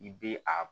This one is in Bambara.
I be a